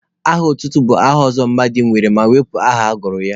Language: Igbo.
Aha otutu bụ aha ọzọ mmadụ nwere ma ewepụ aha agụrụ ya.